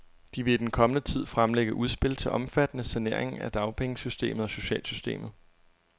De vil i den kommende tid fremlægge udspil til omfattende saneringer af dagpengesystemet og socialsystemet.